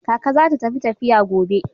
Kaka za ta tafi tafiya gobe.